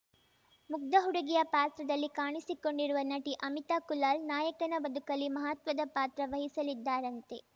ಮುಗ್ಧ ಹುಡುಗಿಯ ಪಾತ್ರದಲ್ಲಿ ಕಾಣಿಸಿಕೊಂಡಿರುವ ನಟಿ ಅಮಿತಾ ಕುಲಾಲ್‌ ನಾಯಕನ ಬದುಕಲ್ಲಿ ಮಹತ್ವದ ಪಾತ್ರವಹಿಸಲಿದ್ದಾರಂತೆ